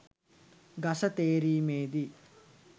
ගස තේරීමෙදී